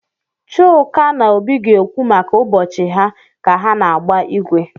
Chuka na Obi ga-ekwu maka ụbọchị ha ka ha na-agba igwe.